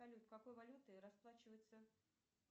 салют какой валютой расплачиваются